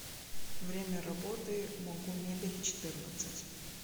время работы могумебельчетырнадцать